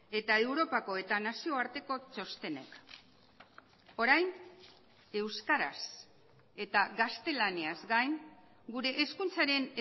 eta europako eta nazioarteko txostenek orain euskaraz eta gaztelaniaz gain gure hezkuntzaren